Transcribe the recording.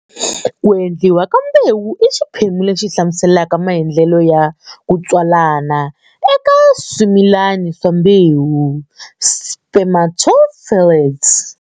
Ku endliwa ka mbewu i xiphemu lexi hlamuselaka maendlelo ya kutswalana eka swimilani swa mbewu, spermatophytes.